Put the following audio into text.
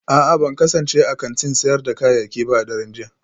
A'a ban kasance a kantin sayar da kayayyaki ba a daren jiya